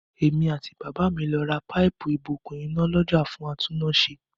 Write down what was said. Èmi àti bàbá mi lọ ra páìpù-ìbokùn iná lọ́jà fún atúnnáṣe.